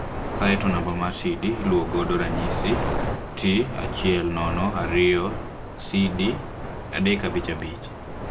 Kae to namba mar CD iluwo godo mfano T102CD 355